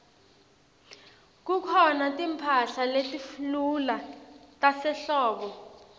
kukhona timphahla letilula tasehlobo